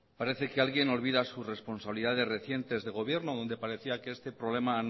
parece que alguien olvida sus responsabilidades recientes de gobierno donde parecía que este problema